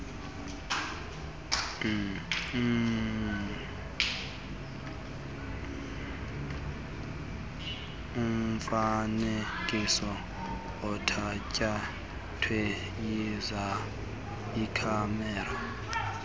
umfanekiso othatyathwe yikhamera